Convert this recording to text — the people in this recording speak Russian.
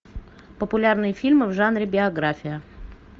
популярные фильмы в жанре биография